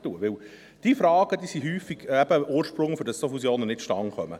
Denn diese Fragen sind häufig eben am Ursprung, wenn solche Fusionen nicht zustande kommen.